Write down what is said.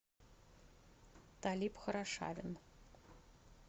талиб хорошавин